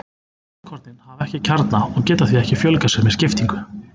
Rauðkornin hafa ekki kjarna og geta því ekki fjölgað sér með skiptingu.